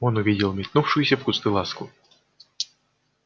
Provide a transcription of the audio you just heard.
он увидел метнувшуюся в кусты ласку